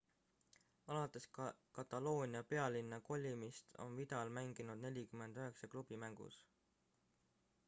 alates kataloonia pealinna kolimist on vidal mänginud 49 klubi mängus